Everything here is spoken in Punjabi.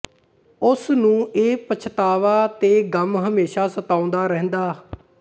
ਉਸ ਨੂੰ ਇਹ ਪਛਤਾਵਾ ਤੇ ਗ਼ਮ ਹਮੇਸ਼ਾ ਸਤਾਉਂਦਾ ਰਹਿੰਦਾ